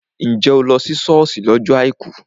Njẹ́ o lọ ṣọ́ọ̀ṣì lọ́jọ́ àìkú?